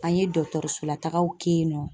An ye dɔtɔrɔsola taagaw kɛ yen nɔ.